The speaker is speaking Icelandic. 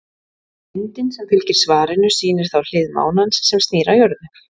Myndin sem fylgir svarinu sýnir þá hlið mánans sem snýr að jörðu.